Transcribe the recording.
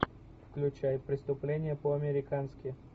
включай преступление по американски